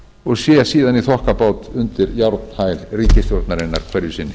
og sé síðan í þokkabót undir járnhæl ríkisstjórnarinnar hverju sinni